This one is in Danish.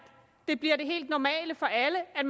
det bliver det helt normale for alle at